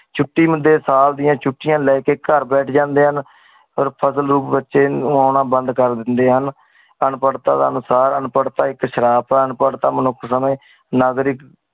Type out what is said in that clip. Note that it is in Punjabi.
ਛੁਟੀ ਹੁੰਦੇ ਹੀ ਸਾਲ ਦੀਆ ਛੁਟੀਆਂ ਲੈਕੇ ਘਰ ਬੈਠ ਜਾਂਦੇ ਹਾਂ ਬੱਚੇ ਓਨਾ ਬੰਦ ਕਰ ਦਿੰਦੇ ਹੈ। ਅਨਪੜਤਾ ਅਨੁਸਾਰ ਅਨਪੜਤਾ ਇਕ ਸ਼ਰਾਪ ਹੈ ਅਨਪੜਤਾ ਮਨੁੱਖ ਨਾਗਰਿਕ